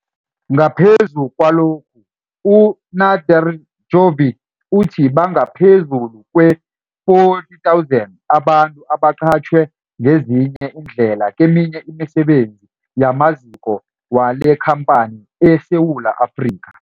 Ngaphezu kwalokhu, u-Nedeljkovic uthi bangaphezulu kwee-40 000 abantu abaqatjhwe ngezinye iindlela keminye imisebenzi yamaziko walekhampani eSewula Afrika.